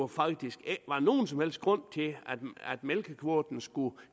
faktisk ikke nogen som helst grund til at mælkekvoten skulle